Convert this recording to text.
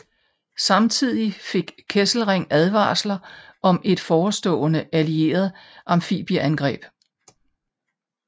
Samtidig fik Kesselring advarsler om et forestående allieret amfibieangreb